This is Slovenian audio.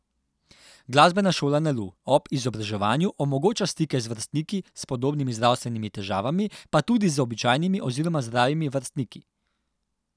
Glasbena šola Nalu ob izobraževanju omogoča stike z vrstniki s podobnimi zdravstvenimi težavami, pa tudi z običajnimi oziroma zdravimi vrstniki.